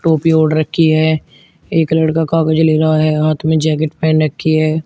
टोपी ओढ़ रखी है एक लड़का कागज ले रहा है हाथ में जैकेट पहन रखी है।